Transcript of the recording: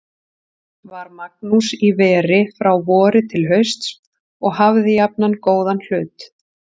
Var Magnús í veri frá vori til hausts og hafði jafnan góðan hlut.